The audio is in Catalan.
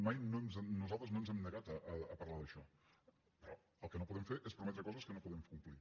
mai nosaltres no ens hem negat a parlar d’això però el que no podem fer és prometre coses que no podem complir